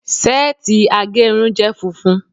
seeti agerun je funfun